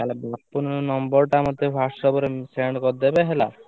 ତା 'ହେଲେ ବାପୁନ ନମ୍ବର ଟା ମତେ WhatsApp ରେ send କରିଦେଲ ହେଲା।